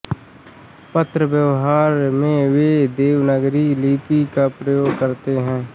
पत्र व्यवहार में वे देवनागरी लिपि का प्रयोग करते है